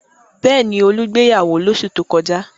Bẹ́ẹ̀ ni, Olú gbéyàwó lóṣù tó kọjá.